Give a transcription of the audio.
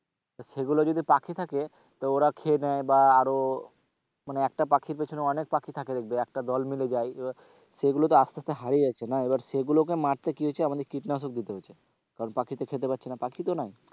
সেগুলো যদি পাখি থাকে তো ওরা খেয়ে নেয় বা আরও মানে একটা পাখির পিছনে অনেক পাখি থাকে দেখবে একটা দল মিলে যায়, এবার সেগুলো তো আসতে আসতে হারিয়ে যাচ্ছে না এবার সেগুলো মারতে কি হচ্ছে আমদের কীটনাশক দিতে হচ্ছে কারণ পাখিতে খেতে পারছে না, পাখি তো নাই,